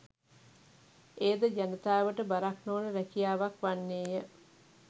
එයද ජනතාවට බරක් නොවන රැකියාවක් වන්නේය